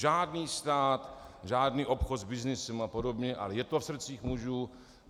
Žádný stát, žádný obchod s byznysem a podobně, ale je to v srdcích mužů.